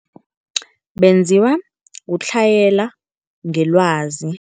Benziwa kutlhayela ngelwazi.